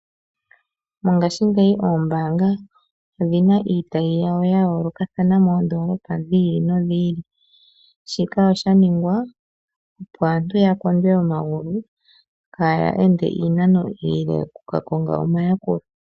Mongashingeyi oombaanga odhina iitayi ya yoolokathana moondoolopa dhiili nodhiili. Shika osha ningwa opo aantu ya kondwe omagulu kaya ende iinano iile okuka konga omayakulo.